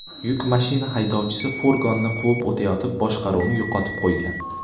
Yuk mashina haydovchisi furgonni quvib o‘tayotib boshqaruvni yo‘qotib qo‘ygan.